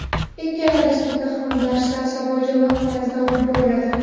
Ikkala dasturda ham darslar savol-javob tarzida olib boriladi.